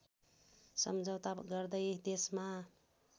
सम्झौता गर्दै देशमा